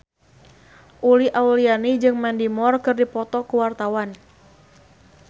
Uli Auliani jeung Mandy Moore keur dipoto ku wartawan